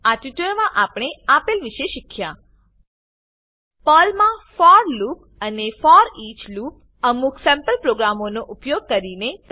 આ ટ્યુટોરીયલમાં આપણે આપેલ વિશે શીખ્યા પર્લમાં ફોર લૂપ અને ફોરઈચ લૂપ અમુક સેમ્પલ પ્રોગ્રામોનો ઉપયોગ કરીને